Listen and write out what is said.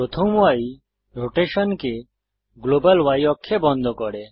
প্রথম ই রোটেশনকে গ্লোবাল Y অক্ষে বন্ধ করে